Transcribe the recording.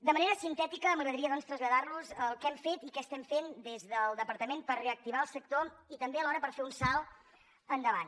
de manera sintètica doncs m’agradaria traslladar los el que hem fet i què estem fent des del departament per reactivar el sector i també alhora per fer un salt endavant